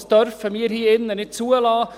Das dürfen wir hier drinnen nicht zulassen.